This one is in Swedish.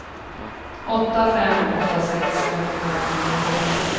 åtta fem åtta sex femtiofem niohundrasextiofyra